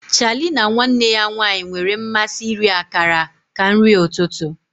Charlie na nwanne ya nwanyị nwere mmasị iri akara ka nri ụtụtụ.